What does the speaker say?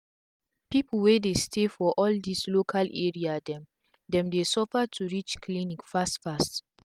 pipu wey dey stay for all dis local area dem dem dey suffer to reach clinic fast fast